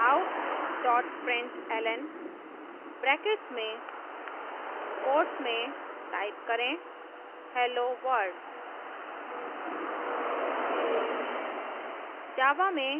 out println brackets में quotes में type करें helloworld